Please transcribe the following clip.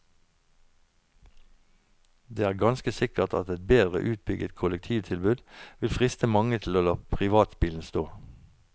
Det er ganske sikkert at et bedre utbygget kollektivtilbud vil friste mange til å la privatbilen stå.